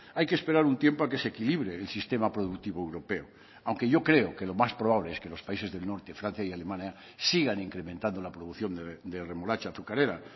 hay que esperar un tiempo a que se equilibre el sistema productivo europeo aunque yo creo que lo más probable es que los países del norte francia y alemania sigan incrementando la producción de remolacha azucarera